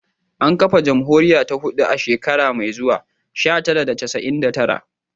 An kafa jamhuriya ta hudu a shekara mai zuwa, sha tara da casa'in da tara